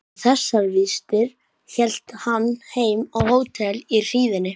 Með þessar vistir hélt hann heim á hótel í hríðinni.